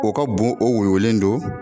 O ka bon o woyolen don